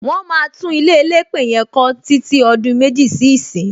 Wọn máa tún ilé elépè yẹn kọ títí ọdún méjì sí ìsín.